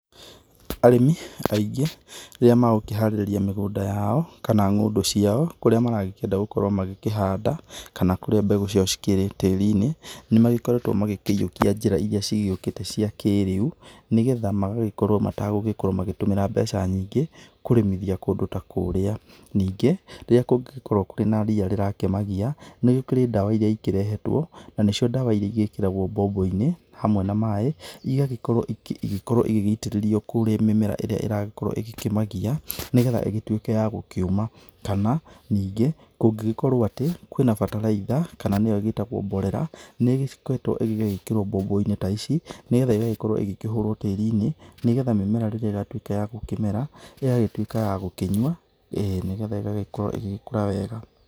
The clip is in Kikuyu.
Arĩmi aingĩ rĩrĩa megũkĩharĩrĩria mĩgũnda yao kana ng'ondũ ciao kũrĩa maragĩkienda gũkorwo magĩkĩhanda kana kũrĩa mbegũ ciao cikĩrĩ tĩrinĩ nĩ magĩkoretwo makĩyiũkĩa njĩra ĩrĩa cigĩokĩte cia kĩrĩu, nĩgetha magagĩkorwo matagũgĩkorwo magĩtũmĩra mbeca nyingĩ kũrĩmithia kũndũ ta kũrĩa. Ningĩ rĩrĩa kũngĩkorwo kwina rĩa rĩrakĩmagiya nĩgũkĩrĩ ndawa iria irehetwo na nĩ cio ndawa iria igĩkĩragwo boboinĩ hamwe na maĩ ĩgagĩkorwo igĩgĩitĩrĩrio kũrĩa mĩmera ĩragĩkorwo ĩkĩmagiya nĩgetha ĩgĩtuĩke ya gũkĩũma. Kana ningĩ kũngĩgĩkorwo atĩ kwĩna bataraitha kana nĩyo ĩgĩtagwo mborera nĩgikoragwo ĩgekĩrwo boboinĩ ta ici nigetha ĩgagĩkorwo ĩkĩhũrwo tĩrinĩ nĩgetha mĩmera rĩrĩa ĩgatuĩka ya gũkĩmera igagĩtuĩka ya gũkĩnyua nĩgetha igagĩkũra wega.